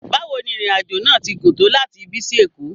Bawo ni irin ajo naa ti gun to lati ibi si Eko?